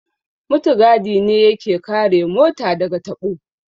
Mutigadi ne ya ke kare mota da ga taɓo